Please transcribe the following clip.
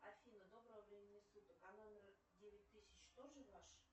афина доброго времени суток а номер девять тысяч тоже ваш